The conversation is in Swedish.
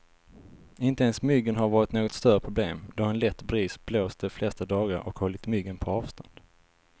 Inte ens myggen har varit något större problem, då en lätt bris blåst de flesta dagar och hållit myggen på avstånd.